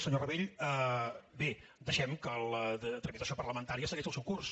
senyor rabell bé deixem que la tramitació parlamentària segueixi el seu curs